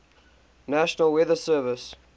national weather service